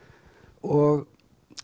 og